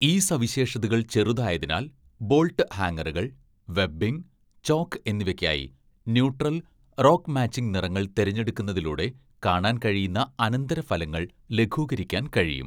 ഈ സവിശേഷതകൾ ചെറുതായതിനാൽ, ബോൾട്ട് ഹാംഗറുകൾ, വെബ്ബിംഗ്, ചോക്ക് എന്നിവയ്ക്കായി ന്യൂട്രൽ, റോക്ക് മാച്ചിംഗ് നിറങ്ങൾ തിരഞ്ഞെടുക്കുന്നതിലൂടെ കാണാൻ കഴിയുന്ന അനന്തരഫലങ്ങൾ ലഘൂകരിക്കാൻ കഴിയും.